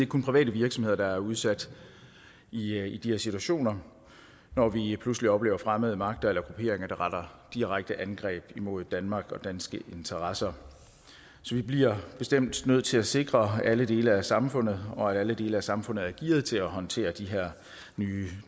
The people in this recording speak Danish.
kun private virksomheder der er udsat i i de her situationer når vi pludselig oplever fremmede magter eller grupperinger der retter direkte angreb mod danmark og danske interesser så vi bliver bestemt nødt til at sikre alle dele af samfundet og at alle dele af samfundet er gearet til at håndtere de her nye